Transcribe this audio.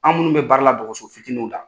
An minnu bɛ baara la dɔgɔso fitininw la.